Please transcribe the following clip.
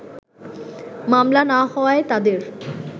মামলা না হওয়ায় তাদের